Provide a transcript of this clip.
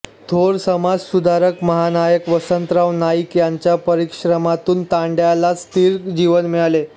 थोर समाजसुधारक महानायक वसंतराव नाईक यांच्या परिश्रमातून तांड्याला स्थिर जीवन मिळाले